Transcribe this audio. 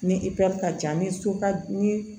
Ni ka ca ni so ka ni